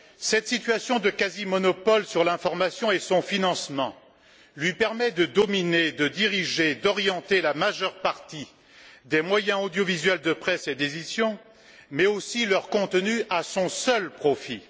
Cette situation de quasi monopole sur l'information et son financement lui permet de dominer, de diriger, d'orienter la majeure partie des moyens audiovisuels de presse et d'édition, mais aussi leur contenu, à son seul profit.